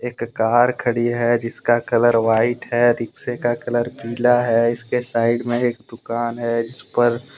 एक कार खड़ी है जिसका कलर व्हाइट है रिक्शे का कलर पीला है इसके साइड में एक दुकान है। जिस पर --